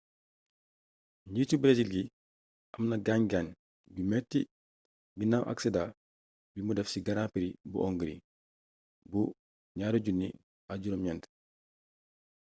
nitu bresil gi amna gaañ gaañ gu metti ginaaw aksidaa bi mu def ci grand prix bu hongrie bu 2009